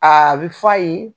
Aa bi f'a ye